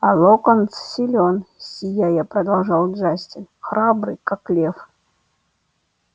а локонс силён сияя продолжал джастин храбрый как лев